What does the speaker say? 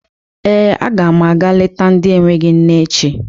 Ee, aga m aga leta ndị enweghi nne echi.